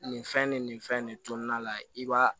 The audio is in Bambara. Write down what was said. Nin fɛn nin nin fɛn nin kɔnɔna la i b'a